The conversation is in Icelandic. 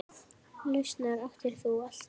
Lausnir áttir þú alltaf.